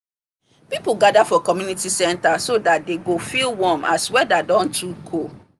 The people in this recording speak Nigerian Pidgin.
people gather for community center so that dey go feel warm as weather don too cold